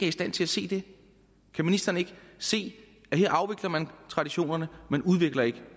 i stand til at se det kan ministeren ikke se at her afvikler man traditionerne man udvikler ikke